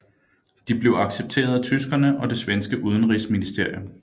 De blev accepteret af tyskerne og det svenske udenrigsministerium